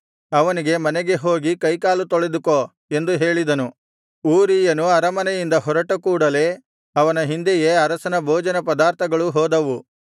ಅವನಿಗೆ ಮನೆಗೆ ಹೋಗಿ ಕೈಕಾಲು ತೊಳೆದುಕೋ ಎಂದು ಹೇಳಿದನು ಊರೀಯನು ಅರಮನೆಯಿಂದ ಹೊರಟ ಕೂಡಲೆ ಅವನ ಹಿಂದೆಯೆ ಅರಸನ ಭೋಜನ ಪದಾರ್ಥಗಳು ಹೋದವು